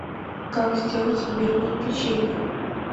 как сделать имбирное печенье